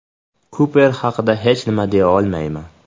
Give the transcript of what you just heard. Kuper haqida hech nima deya olmayman.